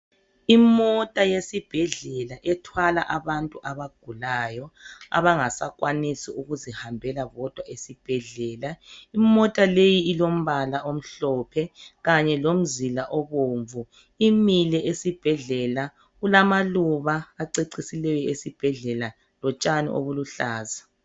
Imota yesibhedlela ethwala abantu abagulayo abangasakwanisi ukuzihambela bodwa esibhedlela. Imota le ilombala omhlophe kanye lomzila obomvu. Imile esibhedlela kulamaluba acecisileyo esibhedlela lotshani obuluhlaza